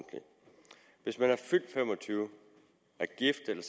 hvis man er fyldt fem og tyve år og er gift eller